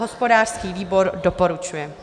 Hospodářský výbor doporučuje.